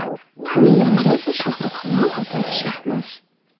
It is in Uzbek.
Uning yonida esa Shohruh Xonning opasi Shahnoz.